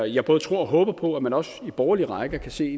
jeg både tror og håber på at man også i de borgerlige rækker kan se